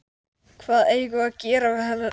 Við settumst undir árar og rerum yfir fjörðinn.